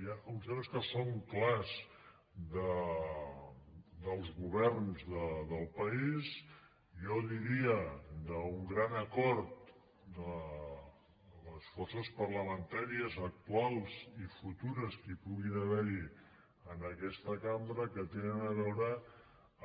hi ha uns temes que són clars dels governs del país jo diria d’un gran acord de les forces parlamentàries actuals i futures que hi puguin haver en aquesta cambra que tenen a veure